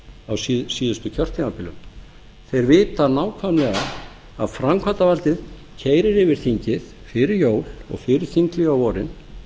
á síðasta kjörtímabili þeir vita nákvæmlega að framkvæmdarvaldið keyrir yfir þingið fyrir jól og fyrir þingið á vorin